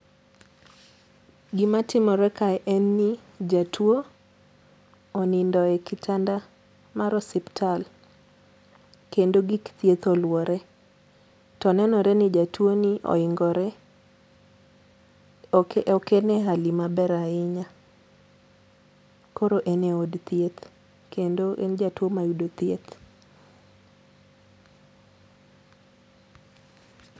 Gima timore kae en ni jatuo onindo e kitanda mar osiptal kendo gik thieth oluore ,to nenore ni jatuoni oingore ,ok ene hali maber ahinya koro en e od thieth kendo en jatuo ma yudo thieth.